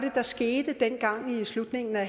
der skete dengang i slutningen af